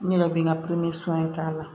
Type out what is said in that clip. N yɛrɛ bɛ n ka in k'a la